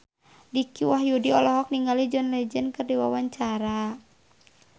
Dicky Wahyudi olohok ningali John Legend keur diwawancara